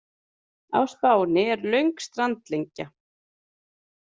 Á Spáni er löng strandlengja.